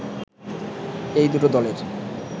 এই দুটো দলের